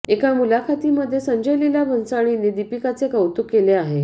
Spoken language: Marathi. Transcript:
एका मुलाखतीमध्ये संजय लीला भंसाळींनी दीपिकाचे कौतुक केले आहे